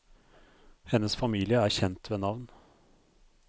Hennes familie er kjent ved navn.